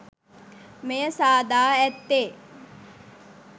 මෙය සාදා ඇත්තේ